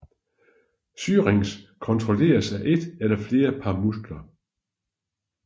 Syrinx kontrolleres af et eller flere par muskler